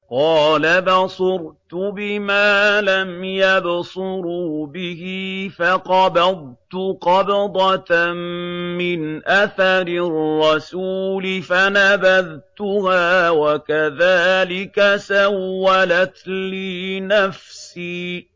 قَالَ بَصُرْتُ بِمَا لَمْ يَبْصُرُوا بِهِ فَقَبَضْتُ قَبْضَةً مِّنْ أَثَرِ الرَّسُولِ فَنَبَذْتُهَا وَكَذَٰلِكَ سَوَّلَتْ لِي نَفْسِي